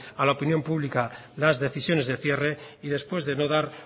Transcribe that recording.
a la opinión pública las decisiones de cierre y después de no dar